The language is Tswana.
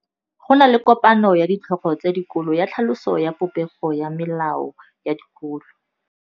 Go na le kopanô ya ditlhogo tsa dikolo ya tlhaloso ya popêgô ya melao ya dikolo.